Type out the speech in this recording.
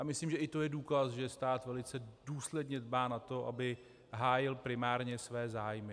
Já myslím, že i to je důkaz, že stát velice důsledně dbá na to, aby hájil primárně své zájmy.